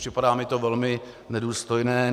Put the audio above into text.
Připadá mi to velmi nedůstojné.